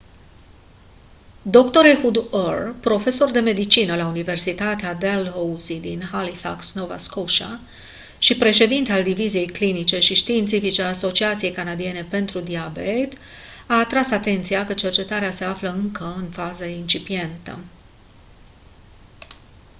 dr ehud ur profesor de medicină la universitatea dalhousie din halifax nova scotia și președinte al diviziei clinice și științifice a asociației canadiene pentru diabet a atras atenția că cercetarea se află încă în fază incipientă